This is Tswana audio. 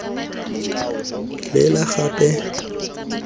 lela gape ijoo ke eng